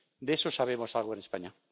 De eso sabemos algo en España.